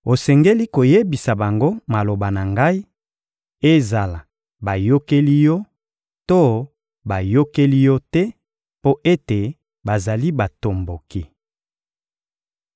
Osengeli koyebisa bango maloba na ngai, ezala bayokeli yo to bayokeli yo te, mpo ete bazali batomboki.